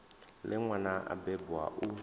ḽe nwana a bebwa u